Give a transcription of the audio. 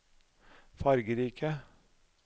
fargerike